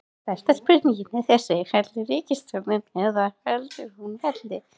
Stærsta spurningin er þessi, fellur ríkisstjórnin eða heldur hún velli?